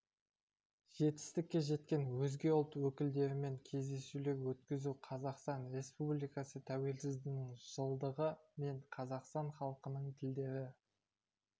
жетістікке жеткен өзге ұлт өкілдерімен кездесулер өткізу қазақстан республикасы тәуелсіздігінің жылдығы мен қазақстан халқының тілдері